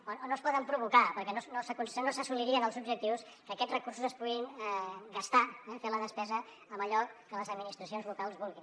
o no es pot provocar perquè no s’assolirien els objectius que aquests recursos es puguin gastar eh fer la despesa en allò que les administracions locals vulguin